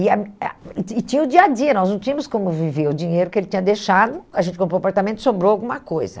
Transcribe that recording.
E e tinha o dia a dia, nós não tínhamos como viver o dinheiro que ele tinha deixado, a gente comprou o apartamento e sobrou alguma coisa.